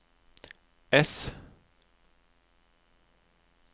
ess